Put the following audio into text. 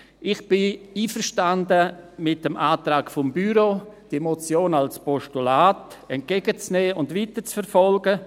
Ich bin einverstanden mit dem Antrag des Büros, die Motion als Postulat entgegenzunehmen und weiterzuverfolgen.